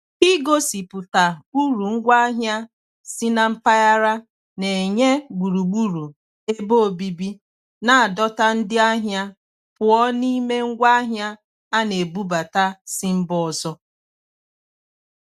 Igosipụta uru ngwaahịa si na mpaghara na-enye gburugburu ebe obibi na-adọta ndị ahịa pụọ n'ime ngwaahịa a na-ebubata si mba ọzọ.